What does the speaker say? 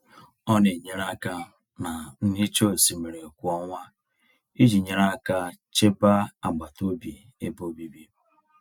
Ọ na-enyere aka na nhicha osimiri kwa ọnwa iji nyere aka chebe agbataobi ebe obibi.